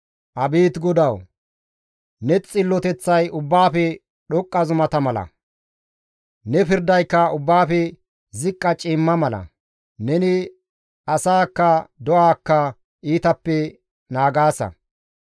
Abeet GODAWU! Ne xilloteththay ubbaafe dhoqqa zumata mala; ne pirdayka ubbaafe ziqqa ciimma mala; neni asaakka do7aakka iitappe naagaasa.